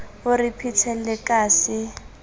o re phethele ka se